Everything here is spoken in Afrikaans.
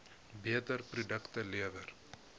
beter produkte lewer